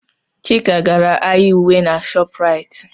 Ụlọ ahịa Chika maka uwe na Shopuraiti.